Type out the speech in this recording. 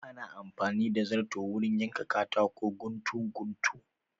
Ana amfani da zarto wurin yanka katako guntu guntu